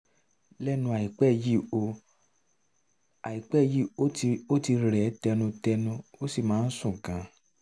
lẹ́nu àìpẹ́ yìí ó àìpẹ́ yìí ó ti rẹ̀ ẹ́ tẹnutẹnu ó sì máa ń sùn gan-an